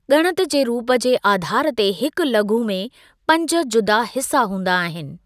ॻणत जे रूप जे आधार ते हिकु लघु में पंज ज़ुदा हिस्‍सा हूंदा आहिनि।